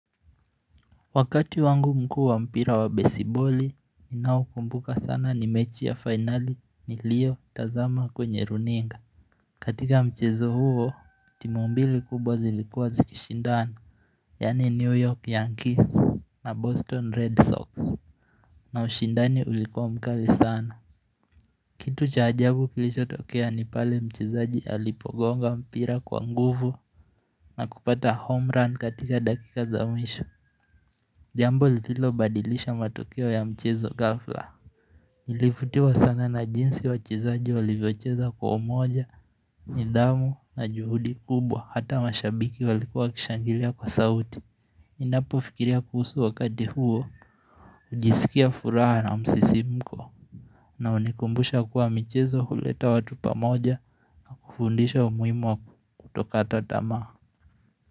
Wakati wangu mkuu wa mpira wa besiboli, ninao ukumbuka sana ni mechi ya fainali niliyotazama kwenye runinga. Katika mchezo huo, timu mbili kubwa zilikuwa zikishindani, yani New York Yankees na Boston Red Sox na ushindani ulikuwa mkali sana. Kitu cha ajabu kilichotokea ni pale mchezaji alipogonga mpira kwa nguvu na kupata homerun katika dakika za mwisho. Jambo lililo badilisha matokeo ya mchezo ghafla Nilivutiwa sana na jinsi wachezaji walivyocheza kwa umoja, nidhamu na juhudi kubwa hata mashabiki walikua wakishangilia kwa sauti Ninapo fikiria kuhusu wakati huo, hujisikia furaha na msisimko na hunikumbusha kuwa michezo huleta watu pamoja kufundisha umuhimu wa kutokata tamaa.